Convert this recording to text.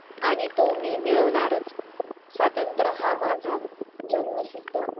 आणि तो मी मिळवणारच स्वातंत्र हा माझा जन्मसिद्ध